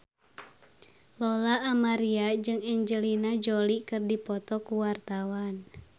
Lola Amaria jeung Angelina Jolie keur dipoto ku wartawan